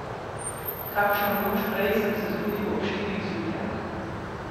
Kakšno noč prej sem se zbudil ob štirih zjutraj.